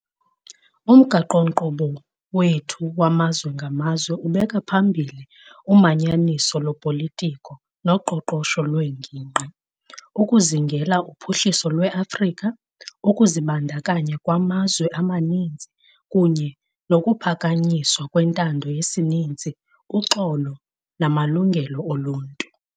Umgaqo-nkqubo wethu wamazwe ngamazwe ubeka phambili umanyaniso lopolitiko noqoqosho lwengingqi, ukuzingela uphuhliso lweAfrika, ukuzibandakanya kwamazwe amaninzi kunye nokuphakanyiswa kwentando yesininzi, uxolo namalungelo oluntu.